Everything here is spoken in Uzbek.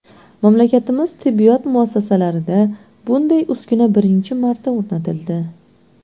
Mamlakatimizning tibbiyot muassasalarida bunday uskuna birinchi marta o‘rnatildi.